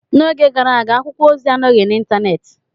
N'oge gara aga, akwụkwọ ozi anọghị n'Ịntanet.